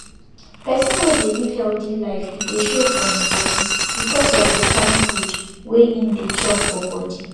person wey dey live healthy life e dey show for him body because of dey kind food wey him dey chop for body